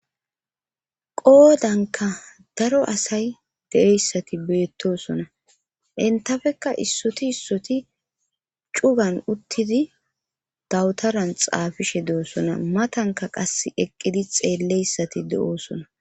Qoodanka daro asay deeyssati beettosona intafekka issoti issoti cugan uttidi dawutaran xaafishe de'osona matanka qas eqqidi xeelleyssati de'oosona.